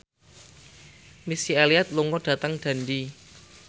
Missy Elliott lunga dhateng Dundee